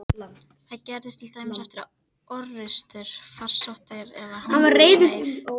Það gerðist til dæmis eftir orrustur, farsóttir eða hungursneyð.